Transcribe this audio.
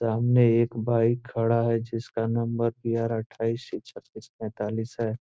सामने एक बाइक खड़ा है जिसका नंबर बी.आर. अट्ठाइस सी छत्तीस पैतालीस है।